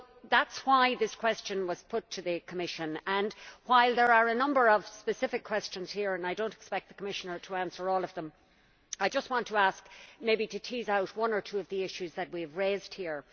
That is why this question was put to the Commission, and while there are a number of specific questions here, and I do not expect the Commissioner to answer all of them I just want to ask, maybe to tease out one or two of the issues that we have raised here.